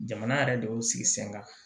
Jamana yɛrɛ dɔw y'o sigi sen kan